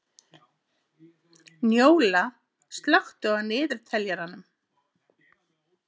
Njóla, slökktu á niðurteljaranum.